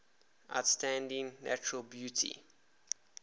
outstanding natural beauty